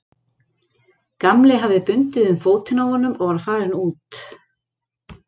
Gamli hafði bundið um fótinn á honum og var farinn út.